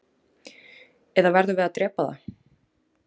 eða verðum við að drepa það